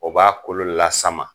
O b'a kolo lasama.